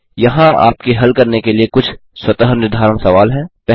यहाँ आपके हल करने के लिए कुछ स्वतः निर्धारण सवाल हैं